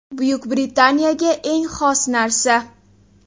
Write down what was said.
Buyuk Britaniyaga eng xos narsa.